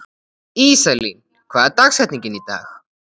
Íselín, hver er dagsetningin í dag?